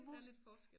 Der lidt forskel